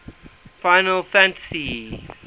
final fantasy